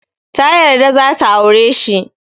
Ta yarda za ta aure shi.